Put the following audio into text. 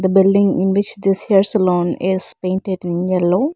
building in which this hair salon is painted in yellow.